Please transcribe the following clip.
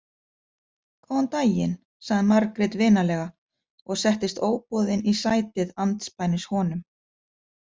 Góðan daginn, sagði Margrét vinalega og settist óboðin í sætið andspænis honum.